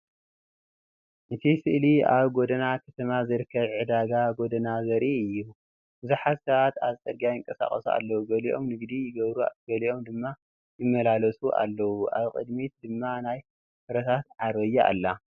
እቲ ስእሊ ኣብ ጎደና ከተማ ዝርከብ ዕዳጋ ጎደና ዘርኢ እዩ። ብዙሓት ሰባት ኣብ ጽርግያ ይንቀሳቐሱ ኣለዉ፡ ገሊኦም ንግዲ ይገብሩ ገሊኦም ድማ ይመላለሱ ኣለዉ። ኣብ ቅድሚት ድማ ናይ ፍረታት ዓረብያ ኣላ።